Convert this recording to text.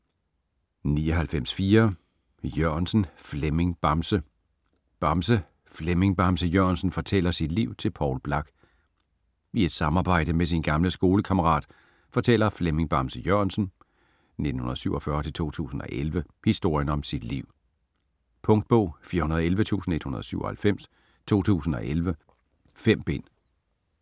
99.4 Jørgensen, Flemming "Bamse" Bamse: Flemming Bamse Jørgensen fortæller sit liv til Poul Blak I et samarbejde med sin gamle skolekammerat fortæller Flemming Bamse Jørgensen (1947-2011) historien om sit liv. Punktbog 411197 2011. 5 bind.